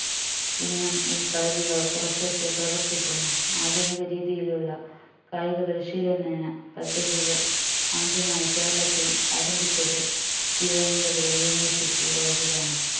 ഇന്നും ഈ കളരികൾ കുറച്ചൊക്കെ പ്രവർത്തിക്കുന്നു ആധുനിക രീതിയിലുള്ള കായിക പരിശീലന പദ്ധതികൾ ആദ്യമായി കേരളത്തിൽ ആരംഭിച്ചത് തിരുവനന്തപുരം university college ലാണ്